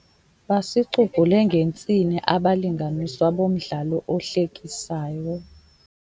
Basicubhule ngentsini abalinganiswa bomdlalo ohlekisayo.